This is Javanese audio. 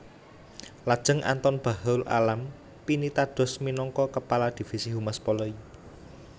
Lajeng Anton Bachrul Alam pinitados minangka Kepala Divisi Humas Polri